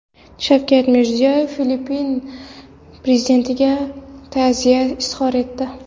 Shavkat Mirziyoyev Filippin prezidentiga ta’ziya izhor etdi.